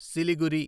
Siliguri